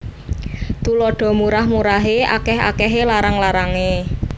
Tuladha Murah murahé akèh akèhé larang larangé